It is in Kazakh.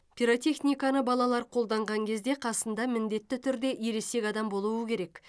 пиротехниканы балалар қолданған кезде қасында міндетті түрде ересек адам болуы керек